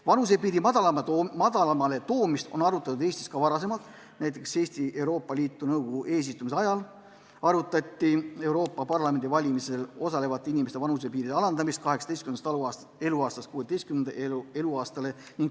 Vanusepiiri madalamale toomist on Eestis ka varem arutatud, näiteks Euroopa Liidu nõukogu eesistumise ajal arutati Euroopa Parlamendi valimisel osalevate inimeste vanusepiiri alandamist 18. eluaastast 16. eluaastale.